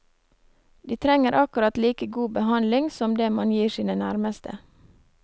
De trenger akkurat like god behandling som det man gir sine nærmeste.